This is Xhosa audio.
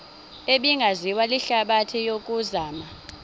ebingaziwa lihlabathi yokuzama